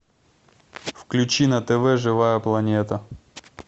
включи на тв живая планета